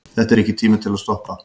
Þetta er ekki tími til að stoppa.